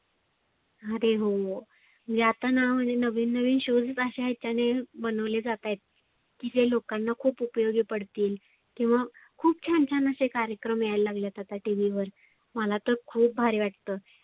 आरे हो, मी आता ना म्हणजे नविन नविन show जे त्याने बनवले जात आहेत. की जे लोकांना खुप उपयोगी पडतील. किंवा खुप छान छान असे कार्यक्रम यायला लागले आहेत आता TV वर. मला तर खुप भारी वाटतं.